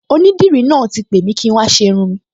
Onídìrí náà ti pè mi kí n wá ṣe irun-ùn mi